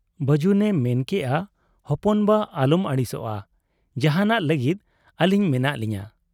ᱵᱟᱹᱡᱩᱱᱮ ᱢᱮᱱ ᱠᱮᱜ ᱟ ᱦᱚᱯᱚᱱ ᱵᱟ ᱟᱞᱚᱢ ᱟᱹᱲᱤᱥᱚᱜ ᱟ ᱾ ᱡᱟᱦᱟᱸᱱᱟᱜ ᱞᱟᱹᱜᱤᱫ ᱟᱹᱞᱤᱧ ᱢᱮᱱᱟᱜ ᱞᱤᱧᱟ ᱾